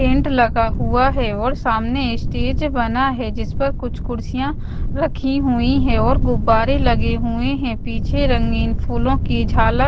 paint लगा हुआ है और सामने स्टेज बना है जिस पर कुछ कुर्सियां रखी हुई हैं और गुब्बारे लगे हुए हैं पीछे रंगीन फूलों की झालर--